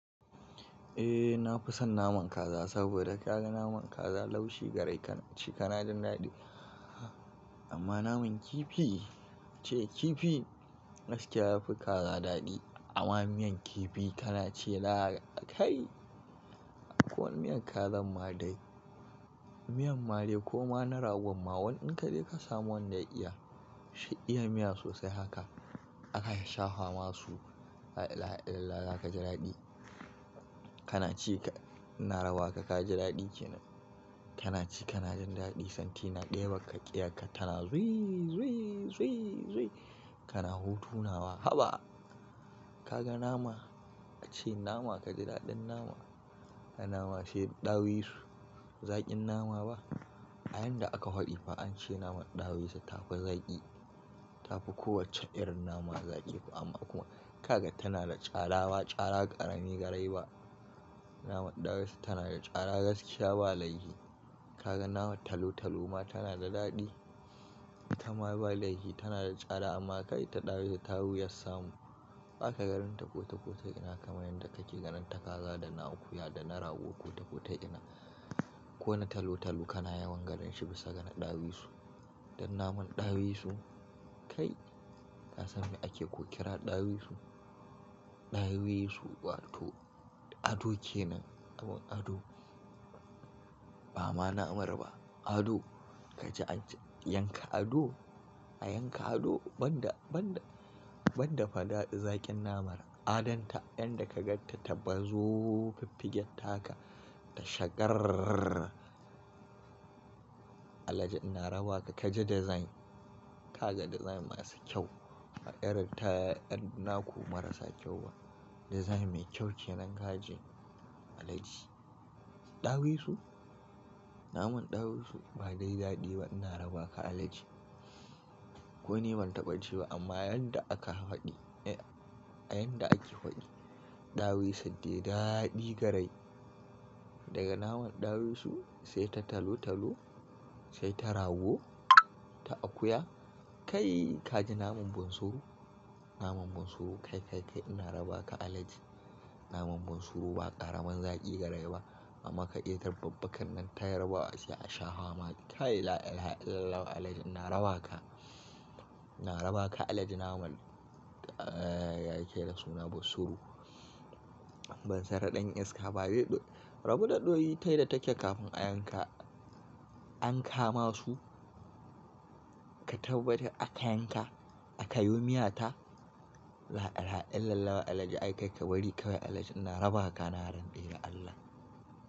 Eh nafi son naman kaza saboda ka ga naman kaza laushi garai ka ci kana jin daɗi. Amma naman kifi ce kifi gaskiya yafi kaza daɗi amma miyan kifi kana ce lala kai. Ko miyan kazan ma dai. Miyan ma de ko ma na ragon ma wani in ka je ka samu wanda ya iya, shi iya miya sosai haka aka sha fama su, la'ilahaillalallah za ka ji daɗi. Kana ci ka, ina raba ka ka ji daɗi kenan. Kana ci kana jin daɗi santi na ɗeban ka ƙeyan ka tana zui zui kana hutu nawa. Haba! Ka ga nama, ace nama ka ji daɗin nama. A nama sai ɗawisu, zaƙin nama ba? A yanda aka faɗi fa ance naman ɗawisu ta fi zaƙi, tafi kowacce irin nama zaƙi amma kuma kaga tana da tsada ma tsada ƙarami garai ba. Namar ɗawisu tana da tsada gaskiya ba laifi. Kaga naman talo talo ma tana da daɗi. Ita ma ba laifi tana da tsada amma kai ta ɗawisu ta fi wuyar samu. Baka ganin ta kotekota ina kamar yanda kake ganin ta kaza da na akuya da na rawu kotekota ina. Ko na talo talo kana yawan ganin shi bisa ga na ɗawisu. Dan naman ɗawisu kai, ka san me ake ko ƙira ɗawisu? Ɗawisu wato ado kenan. Namar ado. Ba ma namar ba. Ado. Ka je ka yanka ado, a yanka ado banda, banda, banda faɗaɗa zaƙin namanr Adon ta yanda ka ganta ta bazo fiffigen taka ta shagar. Alhaji ina rabawa ka, ka ji dizain. Ka ga dizain masu kyau. Ma'yarita yan naku marasa kyau ba. Dizain mai kyau kenan ka ji Alhaji. Ɗawisu? Naman ɗawisu ba dai daɗi ba ina rabawa ka Alhaji. Ko ni ban taɓa ci ba amma yanda aka faɗi, a yanda ake faɗi, ɗawisu dai daɗi garai. Daga naman ɗawisu sai ta talo talo sai ta rago ta akuya. Kai ka ji naman bunsuru. Naman bunsuru kai, kai, kai ina rabawa ka Alhaji. Naman bunsuru ba ƙaramin zaƙi garai ba amma ka iyar babbakan nan ta yarbawa ace a sha fama. Kai la'ilaha illalallahu Alhaji ina rabawa ka. Ina rabawa ka Alhaji naman, ya yake da suna bunsuru. Bansuru ɗan iska ba bai ɗo, rabu da ɗoyi ta yadda take kafin a yanka, an kama su ka tabbatar aka yanka, aka yi wo miyata. La'illaha illalallahu Alhaji aikai ka bari kawai Alhaji ina rabaka na rantse da Allah.